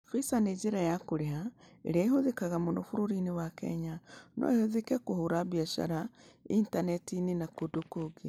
Visa nĩ njĩra ya kũrĩha ĩrĩa ĩhũthĩkaga mũno bũrũri-inĩ wa Kenya, no ĩhũthĩke kũhũra biacara Intaneti-inĩ na kũndũ kũngĩ.